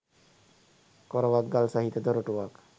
කොරවක්ගල් සහිත දොරටුවක්